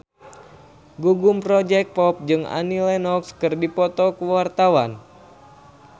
Gugum Project Pop jeung Annie Lenox keur dipoto ku wartawan